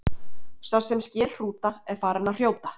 sá sem sker hrúta er farinn að hrjóta